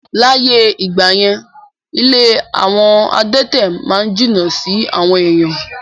Láyé ìgbà yẹn, ilé àwọn adẹ̀tẹ̀ ma n jìnnà sí àwọn èèyàn